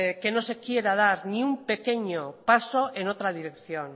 que no se quiera dar ningún pequeño paso en otra dirección